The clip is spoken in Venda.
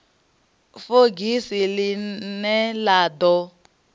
fogisi ḽi ne ḽa ḓo